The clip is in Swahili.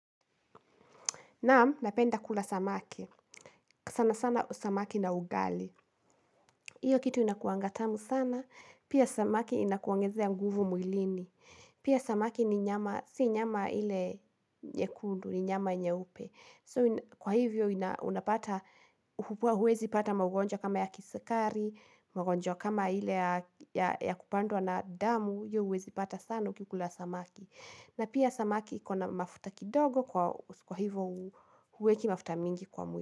Naam, napenda kula samaki. Sana sana samaki na ugali. Hiyo kitu inakuwanga tamu sana. Pia samaki inakuongezea ya nguvu mwilini. Pia samaki ni nyama, si nyama ile nyekundu, ni nyama nyeupe. So, kwa hivyo unapata, huwezi pata maugonjwa kama ya kisukari, maugonjwa kama ile ya kupandwa na damu. Hiyo huwezi pata sana ukikula samaki. Na pia samaki ikona mafuta kidogo kwa hivo huweki mafuta mingi kwa mwili.